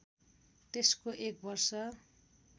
त्यसको एक वर्ष